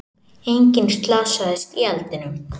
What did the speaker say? Enginn slasaðist í eldinum